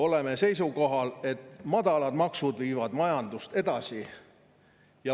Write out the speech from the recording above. Oleme seisukohal, et madalad maksud viivad majandust edasi.